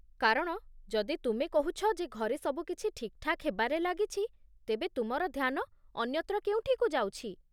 କାରଣ, ଯଦି ତୁମେ କହୁଛ ଯେ ଘରେ ସବୁ କିଛି ଠିକ୍‌ଠାକ୍ ହେବାରେ ଲାଗିଛି, ତେବେ ତୁମର ଧ୍ୟାନ ଅନ୍ୟତ୍ର କେଉଁଠିକୁ ଯାଉଛି।